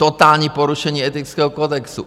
Totální porušení etického kodexu.